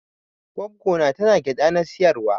Gwaggo na tana gyada na siyarwa.